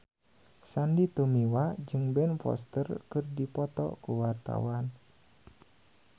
Sandy Tumiwa jeung Ben Foster keur dipoto ku wartawan